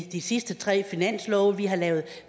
i de sidste tre finanslove vi har lavet